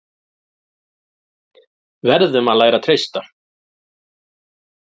Verðum að læra að treysta